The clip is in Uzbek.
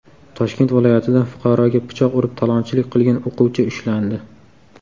Toshkent viloyatida fuqaroga pichoq urib talonchilik qilgan o‘quvchi ushlandi.